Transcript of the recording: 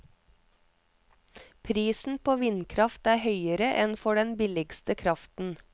Prisen på vindkraft er høyere enn for den billigste kraften.